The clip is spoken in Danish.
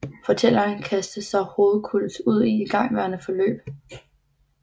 Fortælleren kaster sig hovedkulds ud i et igangværende forløb